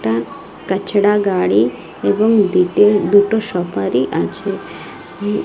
একটা কচরা গাড়ি এবং দুইটো দুটো সফারি আছে উ--